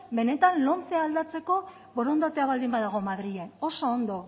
benetan lomce aldatzeko borondatea baldin badago madrilen oso ondo